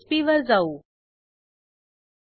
the given user has not borrowed this book